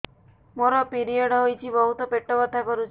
ମୋର ପିରିଅଡ଼ ହୋଇଛି ବହୁତ ପେଟ ବଥା କରୁଛି